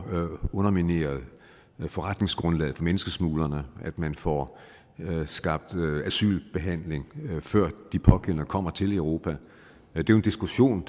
undermineret forretningsgrundlaget for menneskesmuglerne at man får skabt asylbehandling før de pågældende kommer til europa det er jo en diskussion